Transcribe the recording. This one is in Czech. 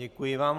Děkuji vám.